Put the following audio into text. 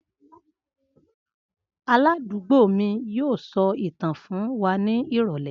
Aládùúgbò mi yóò sọ ìtàn fún wa ní ìrọ̀lẹ́